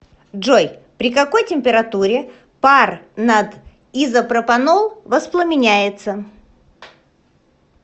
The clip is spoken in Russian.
джой при какой температуре пар над изопропанол восламеняется